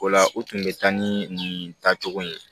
O la u tun bɛ taa ni nin tacogo in ye